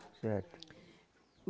Certo.